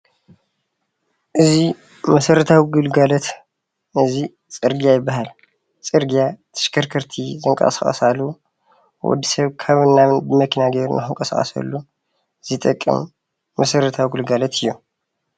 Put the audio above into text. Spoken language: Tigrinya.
እዚ መሰረታዊ ግልጋሎት እዚ ፅርግያ ይበሃል ። ፅርግያ ተሽከርከርቲ ዝንቀሳቀሳሉ ወድሰብ ኻብን ናብን ብመኪና ጌሩ ንኽንቀሳቀሰሉ ዝጠቅም መስረትዊ ግልጋሎት እዩ።